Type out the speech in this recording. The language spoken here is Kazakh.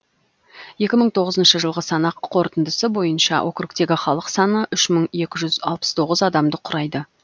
екі мың тоғызыншы жылғы санақ қорытындысы бойынша округтегі халық саны үш мың екі жүз алпыс тоғыз адамды құрайды